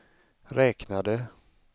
räknade